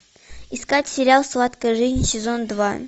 искать сериал сладкая жизнь сезон два